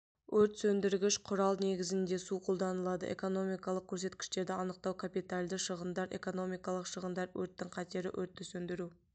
от сөндіргіш құрал негізінде су қолданылады экономикалық көрсеткіштерді анықтау капитальды шығындар -экономикалық шығындар -өрттің қатері өртті сөндіру